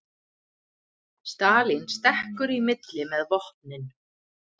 Stalín stekkur í milli með vopnin